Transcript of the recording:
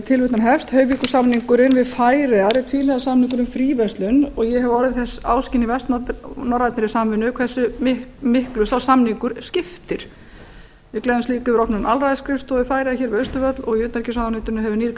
tilvitnun hefst hoyvíkursamningurinn við færeyjar er tvíhliða samningur um fríverslun og ég hef orðið þess áskynja í vestnorrænni samvinnu hversu miklu sá samningur skiptir við gleðjumst líka yfir opnun aðalræðisskrifstofu færeyja hér við austurvöll og í utanríkisráðuneytinu hefur nýr